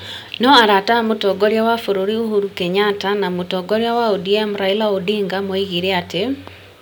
No arata a Mũtongoria wa bũrũri Uhuru Kenyatta na mũtongoria wa ODM Raila Odinga moigire atĩ ,